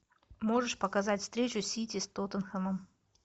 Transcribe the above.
можешь показать встречу сити с тоттенхэмом